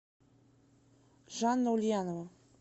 жанна ульянова